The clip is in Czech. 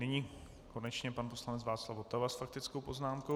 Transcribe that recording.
Nyní konečně pan poslanec Václav Votava s faktickou poznámkou.